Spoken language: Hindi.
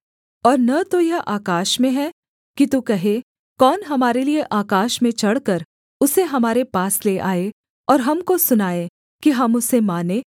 और न तो यह आकाश में है कि तू कहे कौन हमारे लिये आकाश में चढ़कर उसे हमारे पास ले आए और हमको सुनाए कि हम उसे मानें